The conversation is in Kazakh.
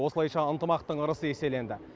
осылайша ынтымақтың ырысы еселенді